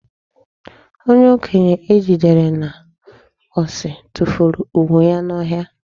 Onye okenye e jidere n'osi tufuru ugwu ya n'ọhịa.